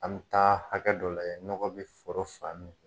An mi taa hakɛ dɔ layɛ nɔgɔ bi foro fan min fɛ